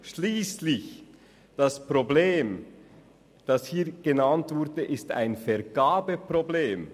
Schliesslich ist das genannte Problem ein Vergabeproblem.